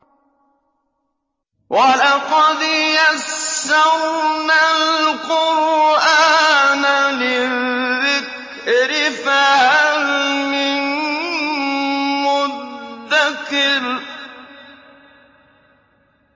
وَلَقَدْ يَسَّرْنَا الْقُرْآنَ لِلذِّكْرِ فَهَلْ مِن مُّدَّكِرٍ